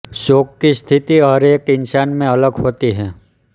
shock की स्थिति हर एक इंसान में अलग होती है